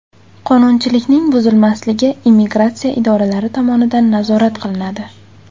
Qonunchilikning buzilmasligi immigratsiya idoralari tomonidan nazorat qilinadi.